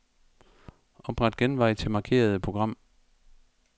Opret genvej til markerede program.